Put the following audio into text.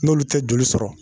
N'olu te joli sɔrɔ